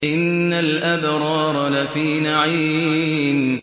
إِنَّ الْأَبْرَارَ لَفِي نَعِيمٍ